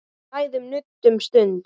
Við ræðum nudd um stund.